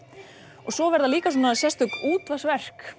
og svo verða líka svona sérstök